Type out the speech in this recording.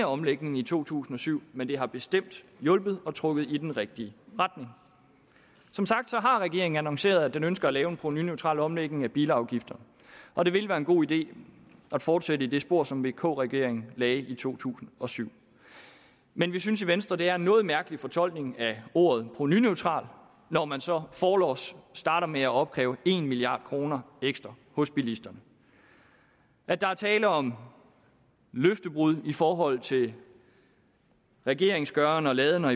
omlægningen i to tusind og syv men det har bestemt hjulpet og trukket i den rigtige retning som sagt har regeringen annonceret at den ønsker at lave en provenuneutral omlægning af bilafgifterne og det vil være en god idé at fortsætte i det spor som vk regeringen lagde i to tusind og syv men vi synes i venstre at det er en noget mærkelig fortolkning af ordet provenuneutral når man så forlods starter med at opkræve en milliard kroner ekstra hos bilisterne at der er tale om løftebrud i forhold til regeringens gøren og laden og